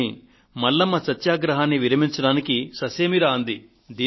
కానీ మల్లమ్మ సత్యాగ్రహాన్ని విరమించడానికి ససేమిరా అంది